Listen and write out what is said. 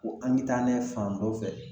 Ko an bi taa n'a ye fan dɔ fɛ